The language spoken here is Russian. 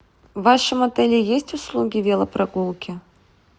в вашем отеле есть услуги велопрогулки